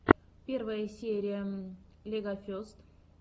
первая серия легофест